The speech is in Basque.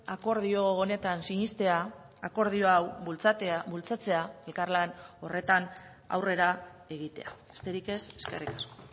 akordio honetan sinestea akordio hau bultzatzea elkarlan horretan aurrera egitea besterik ez eskerrik asko